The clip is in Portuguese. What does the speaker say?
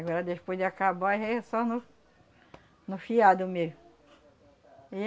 Agora despois de acabar já aí é só no no fiado mesmo.